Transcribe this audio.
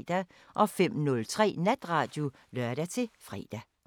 05:03: Natradio (lør-fre)